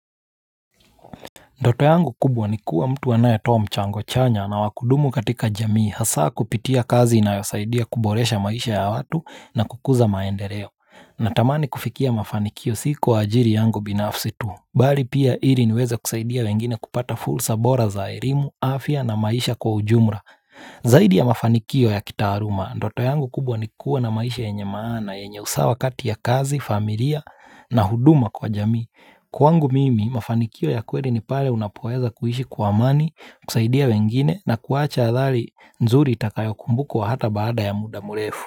Ndoto yangu kubwa ni kuwa mtu anae toa mchango chanya na wakudumu katika jamii hasaa kupitia kazi inayosaidia kuboresha maisha ya watu na kukuza maendeleo. Natamani kufikia mafanikio siku wa ajili yangu binafsi tu. Bali pia ili niweze kusaidia wengine kupata fursa bora za elimu, afya na maisha kwa ujumla. Zaidi ya mafanikio ya kitaaluma, ndoto yangu kubwa ni kuwa na maisha yenye maana, yenye usawa kati ya kazi, familia na huduma kwa jamii. Kwangu mimi, mafanikio ya kweli ni pale unapoweza kuishi kwa amani, kusaidia wengine na kuwacha athari nzuri itakayo kumbukwa hata baada ya muda mrefu.